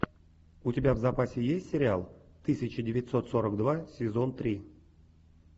у тебя в запасе есть сериал тысяча девятьсот сорок два сезон три